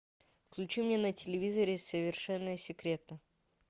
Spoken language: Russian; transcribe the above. включи мне на телевизоре совершенно секретно